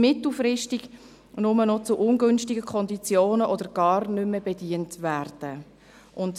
«mittelfristig nur noch zu ungünstigen Konditionen oder gar nicht mehr bedient werden».